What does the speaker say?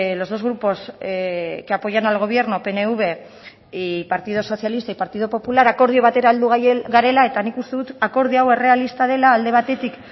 los dos grupos que apoyan al gobierno pnv y partido socialista y partido popular akordio batere heldu garela eta nik uste dut akordio hau errealista dela alde batetik